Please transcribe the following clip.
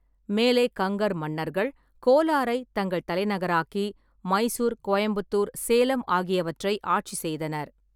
மேலை கங்கர் மன்னர்கள் கோலாரைத் தங்கள் தலைநகராக்கி மைசூர், கோயம்புத்தூர், சேலம் ஆகியவற்றை ஆட்சி செய்தனர்.